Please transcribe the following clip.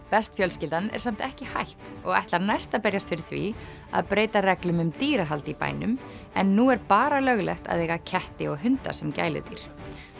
best fjölskyldan er samt ekki hætt og ætlar næst að berjast fyrir því að breyta reglum um dýrahald í bænum en nú er bara löglegt að eiga ketti og hunda sem gæludýr